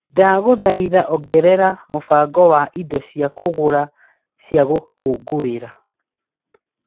Ndagũthaitha ongerera mũbango wa indo cia kũgũra cia gũkũngũira .